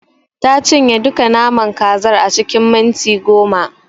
Ta cinye duka naman kazar a cikin minti goma.